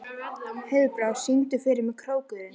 Heiðbrá, syngdu fyrir mig „Krókurinn“.